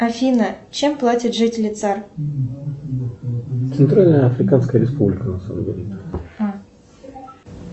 афина чем платят жители цар